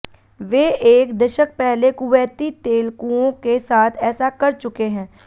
वे एक दशक पहले कुवैती तेल कुओं के साथ ऐसा कर चुके हैं